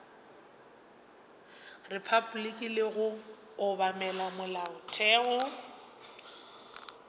repabliki le go obamela molaotheo